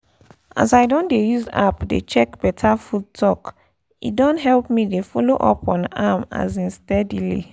as i don dey use app dey check better food talk e don help me dey follow up on am um steadily